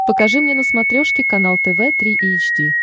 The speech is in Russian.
покажи мне на смотрешке канал тв три эйч ди